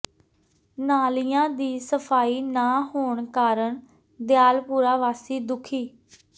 ਨਾਲੀਆਂ ਦੀ ਸਫ਼ਾਈ ਨਾ ਹੋਣ ਕਾਰਨ ਦਿਆਲਪੁਰਾ ਵਾਸੀ ਦੁਖੀ